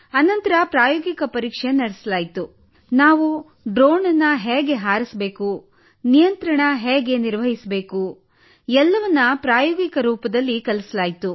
ನಂತರ ಪ್ರಾಯೋಗಿಕ ಪರೀಕ್ಷೆ ನಡೆಸಲಾಯಿತು ನಾವು ಡ್ರೋನ್ ಅನ್ನು ಹೇಗೆ ಹಾರಿಸಬೇಕು ನಿಯಂತ್ರಣ ಹೇಗೆ ನಿರ್ವಹಿಸಬೇಕು ಎಲ್ಲವನ್ನೂ ಪ್ರಾಯೋಗಿಕ ರೂಪದಲ್ಲಿ ಕಲಿಸಲಾಯಿತು